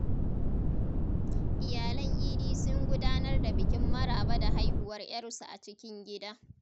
Iyalan Idi sun gudanar da bikin maraba da haihuwar ‘yarsu a cikin gida.